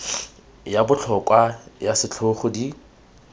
ya botlhokwa ya setlhogo di